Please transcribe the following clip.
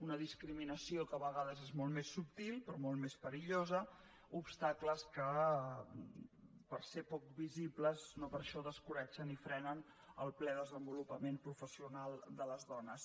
una discriminació que a vegades és molt més subtil però molt més perillosa obstacles que pel fet de ser poc visibles no per això descoratgen i frenen el ple desenvolupament professional de les dones